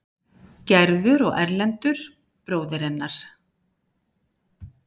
Gerður og Erlendur, bróðir hennar.